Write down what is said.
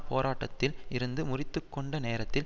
போராட்டத்தில் இருந்து முறித்துக்கொண்ட நேரத்தில்